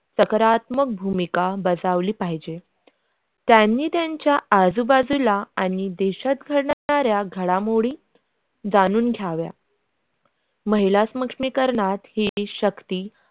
सकारात्मक भूमिका बसवली पाहिजे त्यांनी त्यांच्या आजूबाजूला आणि देशात होणार घडामोडी जाणून घ्यावा महिला सक्षमीकरणयात ही शक्ती.